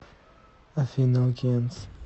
афина океанс